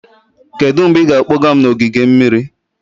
Kedu mgbe ị ga-akpọga m n'ogige mmiri?